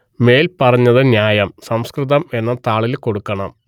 മേൽ പറഞ്ഞത് ന്യായം സംസ്കൃതം എന്ന താളിൽ കൊടുക്കണം